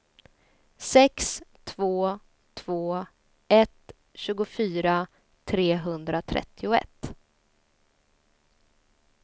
sex två två ett tjugofyra trehundratrettioett